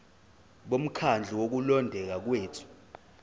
bomkhandlu wokulondeka kwethu